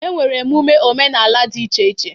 E nwere emume omenala dị iche iche.